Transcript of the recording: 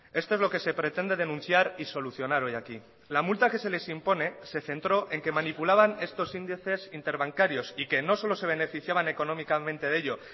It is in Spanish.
esto es lo que se pretende denunciar y solucionar hoy aquí la multa que se les impone se centró en que manipulaban estos índices interbancarios y que no solo se beneficiaban económicamente de ello